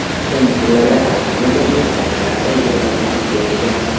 So‘nggi kunlarda Parij klubi muzokaralarda ijobiy siljishga erishgan.